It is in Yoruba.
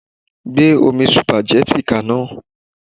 Gbé omi sùpàgẹ́tì ka iná.